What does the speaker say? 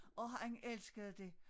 Og han elskede det